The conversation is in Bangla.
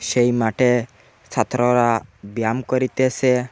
সেই মাঠে ছাত্ররা ব্যায়াম করিতেসে।